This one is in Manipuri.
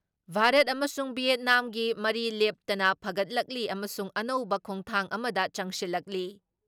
ꯚꯥꯔꯠ ꯑꯃꯁꯨꯡ ꯚꯤꯌꯦꯠꯅꯥꯝꯒꯤ ꯃꯔꯤ ꯂꯦꯞꯇꯅ ꯐꯒꯠꯂꯛꯂꯤ ꯑꯃꯁꯨꯡ ꯑꯅꯧꯕ ꯈꯣꯡꯊꯥꯡ ꯑꯃꯗ ꯆꯪꯁꯤꯜꯂꯛꯂꯤ ꯫